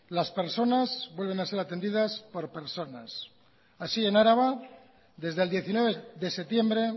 las personas vuelven a ser atendidas por personas así en araba desde el diecinueve de septiembre